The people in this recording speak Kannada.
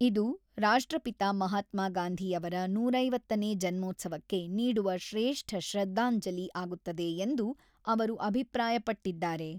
ಇದು ರಾಷ್ಟ್ರಪಿತ ಮಹಾತ್ಮಾಗಾಂಧಿ ಅವರ ನೂರ ಐವತ್ತನೇ ಜನೋತ್ಸವಕ್ಕೆ ನೀಡುವ ಶ್ರೇಷ್ಠ ಶ್ರದ್ಧಾಂಜಲಿ ಆಗುತ್ತದೆ ಎಂದು ಅವರು ಅಭಿಪ್ರಾಯಪಟ್ಟಿದ್ದಾರೆ.